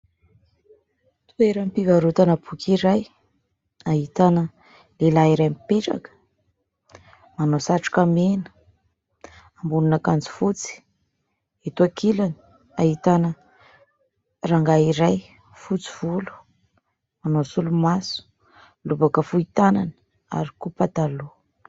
Toeram-pivarotana boky iray ahitana lehilahy iray mipetraka, manao satroka mena, ambonin'akanjo fotsy. Eto ankilany ahitana rangahy iray fotsy volo, manao solomaso, lobaka fohy tànana ary koa pataloha.